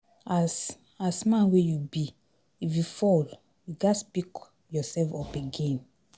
As As man wey you be, if you fall, you ghas pick yourself up again